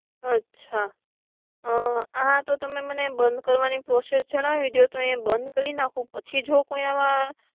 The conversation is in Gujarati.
અચ્છા હા તો મને બંધ કરવા ની પ્રોસેસ જણાવી દિયો તો એ બંધ કરી નાખો પછી જો કોઈ આવા